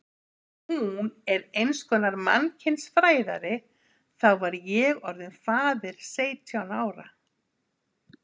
Ef hún er einskonar mannkynsfræðari þá var ég orðinn faðir seytján ára.